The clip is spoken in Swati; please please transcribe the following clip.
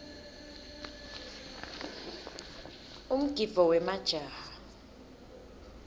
umgidvo wemajaha